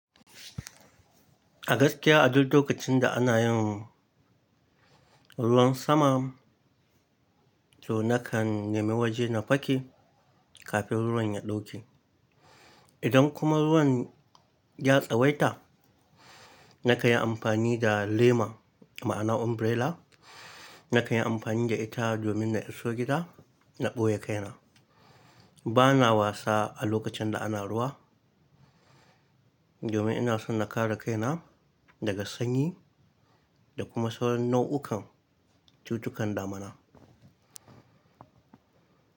A gaskiya a duk lokacin da ana yin ruwan sama, to nakan nemi waje na fake kafin ruwan ya ɗauke. Idan kuma ruwan ya tsawaita, na kan yi amfani da lema, ma'ana umbrella. Na ka yi amfani da ita domin na iso gida na ɓoye kaina. Bana wasa a lokacin da ana ruwa domin ina son na kare kaina daga sanyi da kuma sauran nau'ukan cututtukan damana.